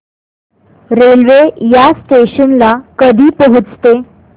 railway या station ला कधी पोहचते